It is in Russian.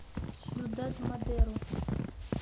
сьюдад мадеро